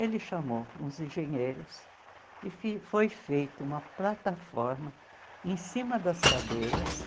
Ele chamou uns engenheiros e fi foi feito uma plataforma em cima das cadeiras.